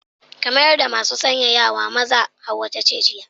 Ka mayar da masu sanyaya na maza, Hauwau ta ce jiya.